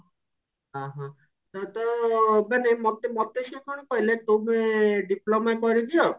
ଓଃ ହୋ ତାହେଲେ ତ ମାନେ ମୋତେ ମୋତେ ସିଏ କଣ କହିଲେ ତୁମେ diploma କରିଦିଅ